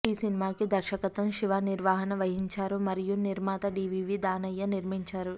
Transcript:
ఈ సినిమాకి దర్శకత్వం శివ నిర్వాణ వహించారు మరియు నిర్మాత డి వి వి దానయ్య నిర్మించారు